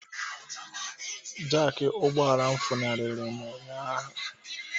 Jaki ụgbọala funariri m ụnyaahụ